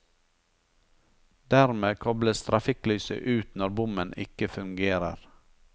Dermed kobles trafikklyset ut når bommen ikke fungerer.